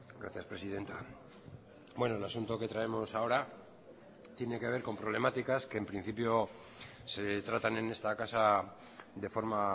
gracias presidenta bueno el asunto que traemos ahora tiene que ver con problemáticas que en principio se tratan en esta casa de forma